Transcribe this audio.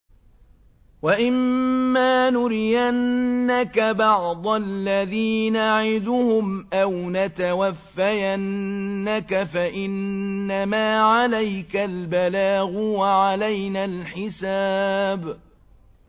وَإِن مَّا نُرِيَنَّكَ بَعْضَ الَّذِي نَعِدُهُمْ أَوْ نَتَوَفَّيَنَّكَ فَإِنَّمَا عَلَيْكَ الْبَلَاغُ وَعَلَيْنَا الْحِسَابُ